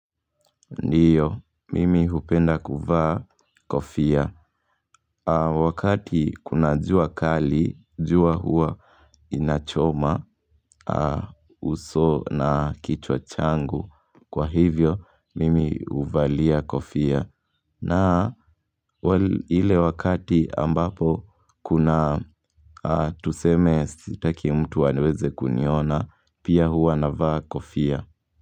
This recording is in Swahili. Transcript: Ndiyo, mimi hupenda kuvaa kofia au Wakati kuna jua kali, jua hua inachoma uso na kichwa changu. Kwa hivyo, mimi huvalia kofia na ile wakati ambapo kuna tuseme sitaki mtu aweze kuniona, pia hua navaa kofia.